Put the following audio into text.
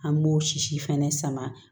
An m'o sisi fɛnɛ sama